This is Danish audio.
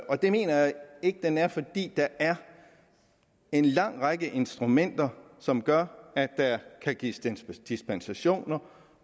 og det mener jeg ikke den er fordi der er en lang række instrumenter som gør at der kan gives dispensationer